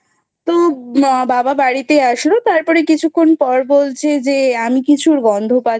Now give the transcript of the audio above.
তো বাবা বাড়িতে আসলো তারপরে কিছুক্ষণ পর বলছে যে আমি কিছুর গন্ধ পাচ্ছি না